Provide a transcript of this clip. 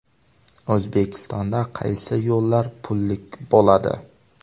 O‘zbekistonda qaysi yo‘llar pullik bo‘ladi?.